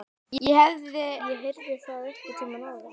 Heyrði ég það einhvern tíma áður?